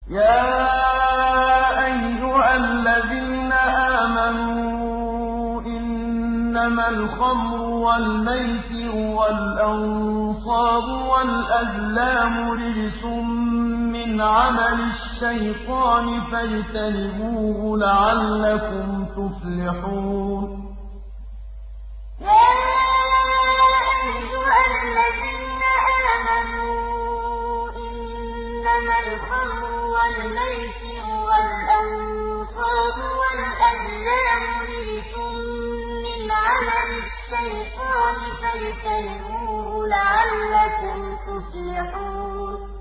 يَا أَيُّهَا الَّذِينَ آمَنُوا إِنَّمَا الْخَمْرُ وَالْمَيْسِرُ وَالْأَنصَابُ وَالْأَزْلَامُ رِجْسٌ مِّنْ عَمَلِ الشَّيْطَانِ فَاجْتَنِبُوهُ لَعَلَّكُمْ تُفْلِحُونَ يَا أَيُّهَا الَّذِينَ آمَنُوا إِنَّمَا الْخَمْرُ وَالْمَيْسِرُ وَالْأَنصَابُ وَالْأَزْلَامُ رِجْسٌ مِّنْ عَمَلِ الشَّيْطَانِ فَاجْتَنِبُوهُ لَعَلَّكُمْ تُفْلِحُونَ